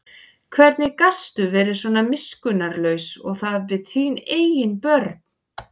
Hvernig gastu verið svona miskunnarlaus og það við þín eigin börn?